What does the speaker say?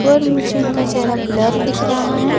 और मुझे इसका चेहरा ब्लर दिख रहा है।